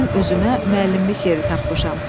Mən özümə müəllimlik yeri tapmışam.